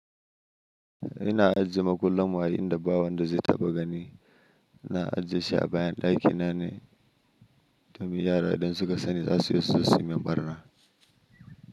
Ina ajiye makullan mu a inda bawon da zai taɓa gani. Na ajiye shi a bayan ɗakina ne domin yara idan suka sani za su iya suzo suyi min ɓarna.